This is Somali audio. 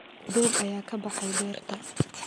Doog ayaa ka baxay beerta.